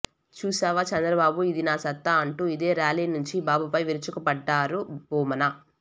చూశావా చంద్రబాబు ఇది నా సత్తా అంటూ ఇదే ర్యాలీ నుంచి బాబుపై విరుచుకుపడ్డారు భూమన